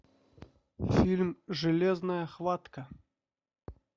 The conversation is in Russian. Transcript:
фильм железная хватка